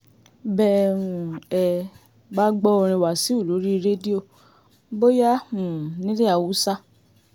bẹ́ um ẹ ẹ bá gbọ́ orin wáṣíù lórí rédíò bóyá um nílẹ̀ haúsá